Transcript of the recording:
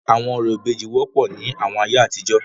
Awọn orȯ ìbejì wọpọ ni awọn aiye atijọ.